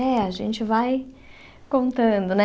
É, a gente vai contando, né?